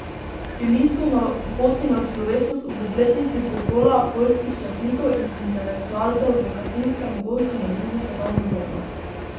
Bili so na poti na slovesnost ob obletnici pokola poljskih častnikov in intelektualcev v Katinskem gozdu med drugo svetovno vojno.